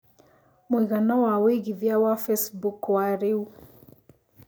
mũigana wa wĩĩgĩthĩa wa Facebook wa rĩũ